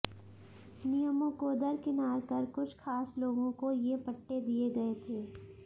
नियमों को दरकिनार कर कुछ खास लोगों को ये पट्टे दिए गए थे